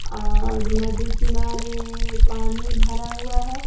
और नदी किनारे पानी भरा हुआ हैं।